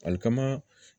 Alikama